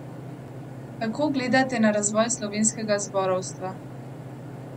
Kako gledate na razvoj slovenskega zborovstva?